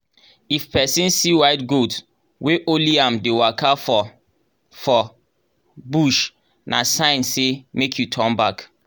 if person see white goat wey only am dey waka for for bush na sign say make you turn back.